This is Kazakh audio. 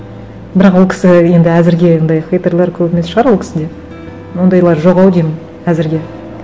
бірақ ол кісі енді әзірге ондай хейтерлар көп емес шығар ол кісіде ондайлар жоқ ау деймін әзірге